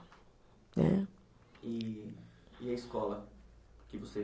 Né. E, e a escola que você